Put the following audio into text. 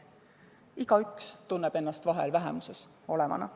Igaüks tunneb ennast vahel vähemuses olevana.